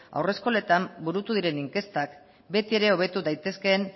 haurreskoletan burutu diren inkestak betiere hobetu daitezken